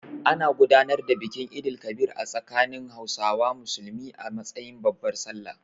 An gudanar da bikin Eid el-Kabir a tsakanin Hausawa Musulmi a matsayin babbar Sallah.